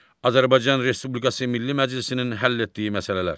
Azərbaycan Respublikası Milli Məclisinin həll etdiyi məsələlər.